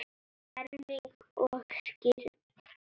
Ferming og skírn.